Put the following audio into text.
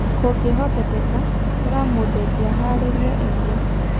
Kũngĩhotekeka, ĩra mũndũ ũngĩ ahaarĩrie irio.